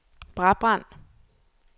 Brabrand